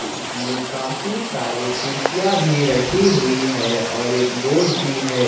इसमें काफी सारे कुर्सियां भी रखी हुई है और एक बोर्ड भी है।